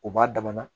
U b'a dama na